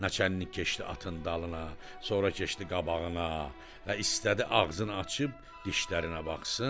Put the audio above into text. Naçalnik keçdi atın dalına, sonra keçdi qabağına və istədi ağzını açıb dişlərinə baxsın.